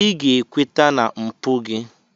Ị ga-ekweta na mpụ gị!